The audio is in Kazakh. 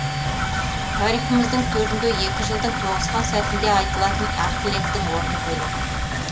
тарихымыздың төрінде екі жылдың тоғысқан сәтінде айтылатын ақ тілектің орны бөлек